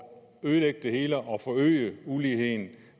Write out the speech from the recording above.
ødelægge det hele og forøge uligheden